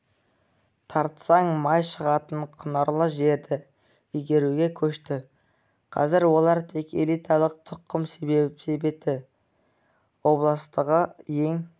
тартсаң май шығатын құнарлы жерді игеруге көшті қазір олар тек элиталық тұқым себетін облыстағы ең